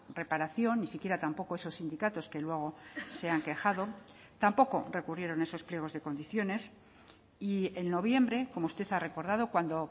reparación ni siquiera tampoco esos sindicatos que luego se han quejado tampoco recurrieron esos pliegos de condiciones y en noviembre como usted ha recordado cuando